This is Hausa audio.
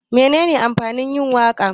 Menene amfanin yin waka?